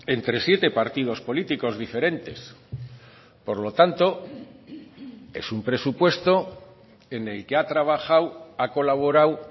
entre siete partidos políticos diferentes por lo tanto es un presupuesto en el que ha trabajado ha colaborado